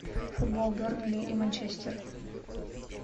футбол бернли и манчестер